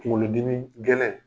Kunkolodimi gɛlɛn